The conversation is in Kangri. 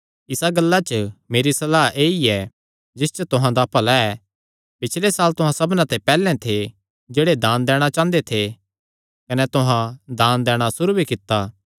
इसा गल्ला च मेरी सलाह ऐई ऐ जिस च तुहां दा भला ऐ पिछले साल तुहां सबना ते पैहल्ले थे जेह्ड़े दान दैणा चांह़दे थे कने तुहां दान दैणा सुरू भी कित्ता